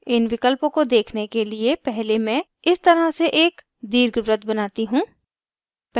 इन विकल्पों को देखने के लिए पहले मैं इस तरह से एक दीर्घवृत्त बनाती हूँ